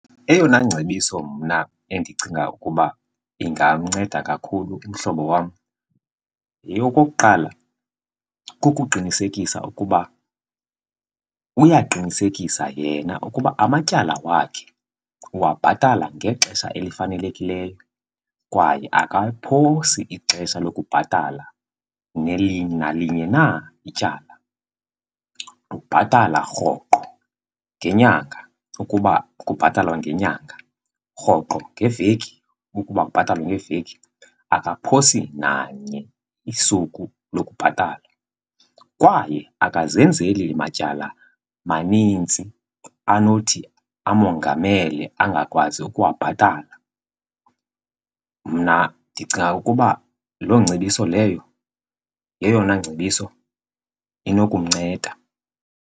Eyona ngcebiso mna endicinga ukuba ingamnceda kakhulu umhlobo wam okokuqala, kukuqinisekisa ukuba uyaqinisekisa yena ukuba amatyala wakhe uwabhatala ngexesha elifanelekileyo kwaye akaliphosi ixesha lokubhatala nalinye na ityala. Ubhatala rhoqo ngenyanga ukuba kubhatalwa ngenyanga, rhoqo ngeveki ukuba kubhatalwa ngeveki, akaphosi nanye isuku lokubhatala. Kwaye akazenzeli matyala manintsi anothi amongamele angakwazi ukuwabhatala. Mna ndicinga ukuba loo ngcebiso leyo yeyona ngcebiso inokumnceda.